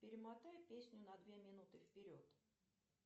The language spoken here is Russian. перемотай песню на две минуты вперед